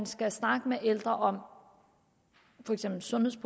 skal snakke med de ældre om for eksempel sundhed